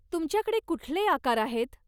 तुमच्याकडे कुठले आकार आहेत?